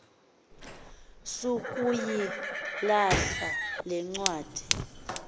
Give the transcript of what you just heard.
sukuyilahla le ncwadi